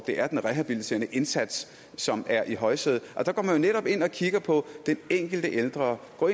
det er den rehabiliterende indsats som er i højsædet der går man netop ind og kigger på den enkelte ældre og